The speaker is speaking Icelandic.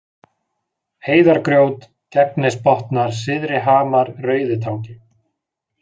Heiðargrjót, Gegnisbotnar, Syðrihamar, Rauðitangi